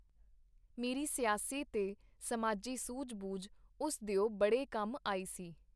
ਮੇਰੀ ਸਿਆਸੀ ਤੇ ਸਮਾਜੀ ਸੂਝ-ਬੂਝ ਉਸ ਦਿਓ ਬੜੇ ਕੰਮ ਆਈ ਸੀ.